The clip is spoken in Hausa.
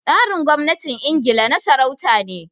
Tsarin gwamnatin Ingila na sarauta ne